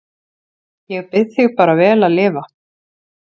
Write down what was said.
Ég bið þig bara vel að lifa